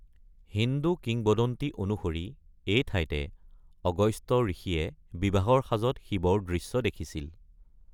হিন্দু কিংবদন্তি অনুসৰি, এই ঠাইতে আগস্ত্য ঋষিয়ে বিবাহৰ সাজত শিৱৰ দৃশ্য দেখিছিল।